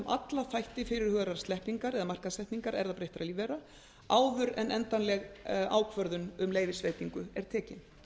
alla þætti fyrirhugaðrar sleppingar eða markaðssetningar erfðabreyttra lífvera áður en endanlega ákvörðun um leyfisveitingu er tekin